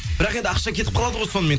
бірақ енді ақша кетіп қалады ғой сонымен